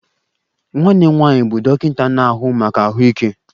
Nwanne m nwanyị bụ dọkịta na-ahụ maka ahụike